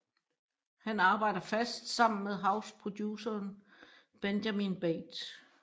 Han arbejder fast sammen med houseproduceren Benjamin Bates